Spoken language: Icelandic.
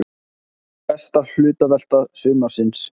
Besta hlutavelta sumarsins!